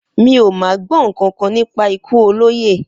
Mi ò má gbó̩ nǹkankan nípa ikú olóyè